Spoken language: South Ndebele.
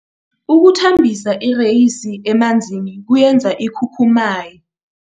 Ukuthambisa ireyisi emanzini kuyenza ikhukhumaye.